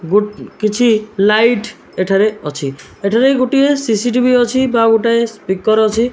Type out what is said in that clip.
ଗୋ କିଛି ଲାଇଟ୍ ଏଠାରେ ଅଛି। ଏଠାରେ ଗୋଟିଏ ସି_ସି ଟି_ଭି ଅଛି ବା ଗୋଟିଏ ସ୍ପିକର୍ ଅଛି।